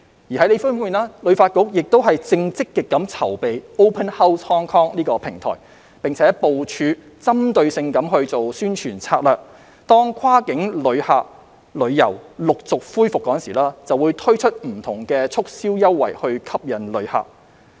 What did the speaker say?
另一方面，旅發局亦正積極籌備 "Open House Hong Kong" 平台，並部署針對性的宣傳策略，當跨境旅遊陸續恢復時，推出不同促銷優惠吸引旅客。